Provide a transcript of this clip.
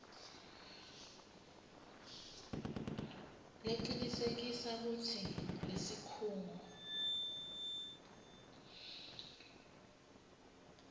lecinisekisa kutsi lesikhungo